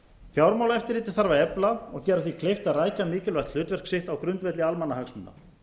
fjármálaeftirlitið þarf að efla og gera því kleift að rækja mikilvægt hlutverk sitt á grundvelli almannahagsmuna